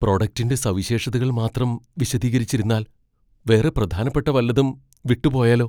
പ്രൊഡക്റ്റിൻ്റെ സവിശേഷതകൾ മാത്രം വിശദീകരിച്ചിരുന്നാൽ വേറെ പ്രധാനപ്പെട്ട വല്ലതും വിട്ടുപോയാലോ?